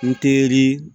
N teri